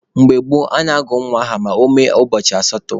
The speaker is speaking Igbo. Mgbe gboo, a na-agụ nwa aha ma ọ mee ụbọchị asatọ.